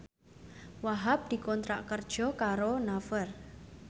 Wahhab dikontrak kerja karo Naver